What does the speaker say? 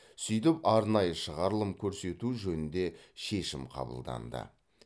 сөйтіп арнайы шығарылым көрсету жөнінде шешім қабылданды